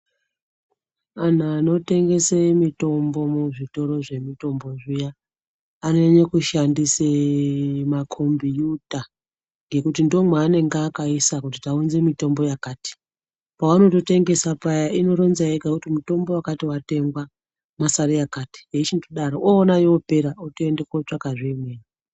Vantu vanotengese mitombo muzvitoro zvemitombo zviya anonyanya kushandise makombuta ngekuti ndomwaanenge akaisa kuti taunze mitombo yakati. Paanondotengesa paya inoronza yega kuti mutombo wakati watengwa mwasare yakati yeichindodaro, oona yoopera oende kotsvaka zve imweni.